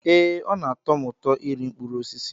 Ee, ọ na-atọ m ụtọ iri mkpụrụ osisi